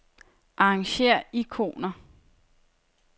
Arrangér ikoner.